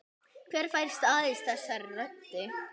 Hver fær staðist þessa rödd?